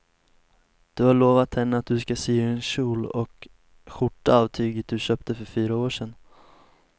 Du har lovat henne att du ska sy en kjol och skjorta av tyget du köpte för fyra år sedan.